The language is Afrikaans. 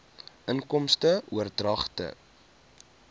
inkomste oordragte